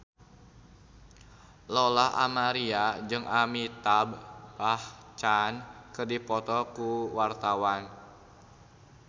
Lola Amaria jeung Amitabh Bachchan keur dipoto ku wartawan